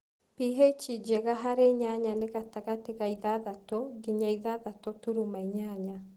pH njega harĩ nyanya nĩ gatagatĩ wa ithathatũ nginya ithathatũ turuma inyanya’.